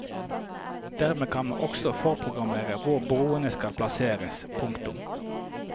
Dermed kan man også forprogrammere hvor borene skal plasseres. punktum